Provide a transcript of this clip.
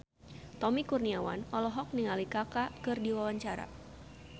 Tommy Kurniawan olohok ningali Kaka keur diwawancara